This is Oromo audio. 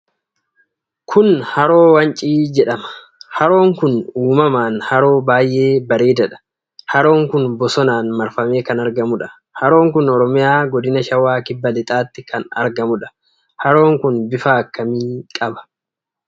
Kun haroo wancii jedhama. Haroon kun uumamaan haroo baay'ee bareedaadha. Haroon kun bosonaan marfamee kan argamuudha. Haroon kun Oromiyaa Godina Shawaa Kibba Lixaatti kan argamudha. Haroon kun bifa akkamii qaba?